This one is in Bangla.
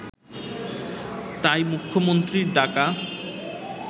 তাই মুখ্যমন্ত্রীর ডাকা